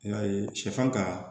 I y'a ye sɛfan ka